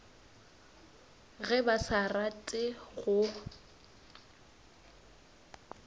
ge ba sa rate go